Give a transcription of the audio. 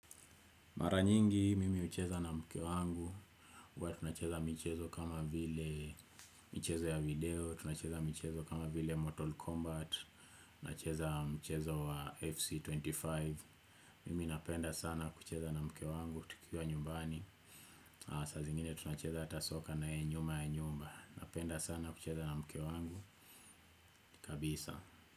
Mara nyingi, mimi hucheza na mke wangu. Uwa tunacheza michezo kama vile michezo ya video, tunacheza michezo kama vile Mortal Kombat, tunacheza mchezo wa FC25. Mimi napenda sana kucheza na mke wangu tikiwa nyumbani. Saa zingine tunacheza ata soka naye nyuma ya nyumba. Napenda sana kucheza na mke wangu, kabisa.